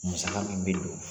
Musaka min bɛ don